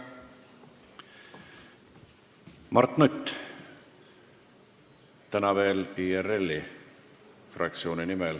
Mart Nutt, täna veel IRL-i fraktsiooni nimel.